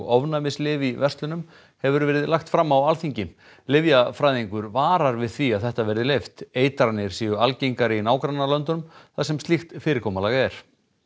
ofnæmislyf í verslunum hefur verið lagt fram á Alþingi lyfjafræðingur varar við því að þetta verði leyft eitranir séu algengari í nágrannalöndunum þar sem slíkt fyrirkomulag er